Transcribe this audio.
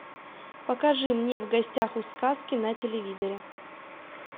покажи мне в гостях у сказки на телевизоре